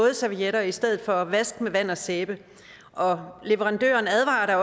vådservietter i stedet for vask med vand og sæbe leverandøren advarer